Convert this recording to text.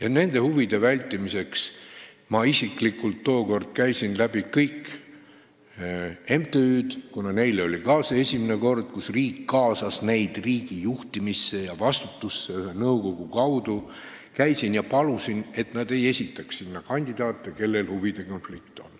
Et seda huvide konflikti vältida, ma isiklikult tookord käisin läbi kõik MTÜ-d, kuna ka neile oli see esimene kord, kui riik kaasas neid ühe nõukogu kaudu riigi juhtimisse ja vastutuse võtmisesse, ja palusin, et nad ei esitaks sinna kandidaate, kellel on huvide konflikt.